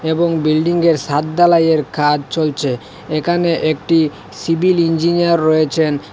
এবং বিল্ডিংয়ের সাদ ঢালাইয়ের কাজ চলছে এখানে একটি সিভিল ইঞ্জিনিয়ার রয়েছেন।